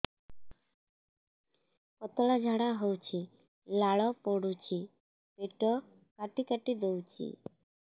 ପତଳା ଝାଡା ହଉଛି ଲାଳ ପଡୁଛି ପେଟ କାଟି କାଟି ଦଉଚି